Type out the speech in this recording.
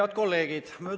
Head kolleegid!